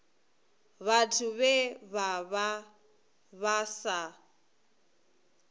vhathu vhe vha vha sa